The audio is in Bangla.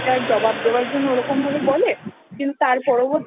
জবাব দেবার জন্য ওরকম ভাবে বলে কিন্তু তার পরবর্তী